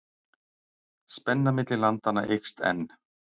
Spenna milli landanna eykst enn.